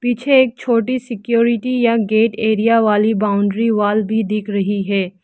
पीछे एक छोटी सिक्योरिटी या गेट एरिया वाली बाउंड्री वॉल भी दिख रही है।